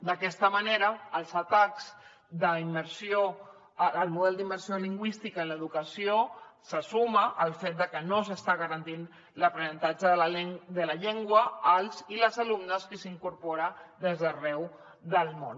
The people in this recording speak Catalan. d’aquesta manera als atacs al model d’immersió lingüística en l’educació se suma el fet de que no s’està garantint l’aprenentatge de la llengua als i les alumnes que s’incorporen des d’arreu del món